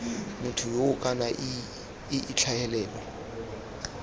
motho yoo kana ii tlhagelelo